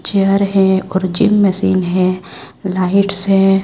Chair है और gym machine है लाइट्स है।